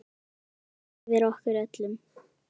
Guð vaki yfir ykkur öllum.